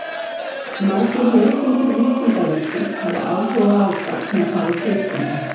Margir lesendur Vísindavefsins hafa áhuga á gáfnafari sauðkinda.